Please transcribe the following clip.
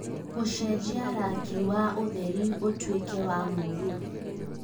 gũcenjia rangi wa ũtheri ũtuĩke wa mũruru